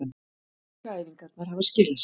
Aukaæfingarnar hafa skilað sér